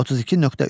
32.3.